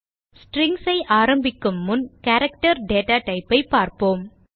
Strings ஐ ஆரம்பிக்கும் முன் கேரக்டர் டேட்டா type ஐ பார்ப்போம்